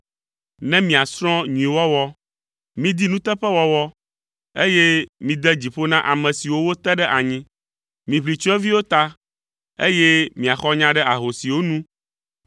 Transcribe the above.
ne miasrɔ̃ nyuiwɔwɔ! Midi nuteƒewɔwɔ, eye mide dzi ƒo na ame siwo wote ɖe anyi. Miʋli tsyɔ̃eviwo ta, eye miaxɔ nya ɖe ahosiwo nu.